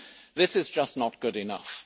This is just not good enough.